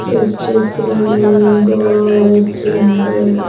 इस चित्र में बहुत सुंदर--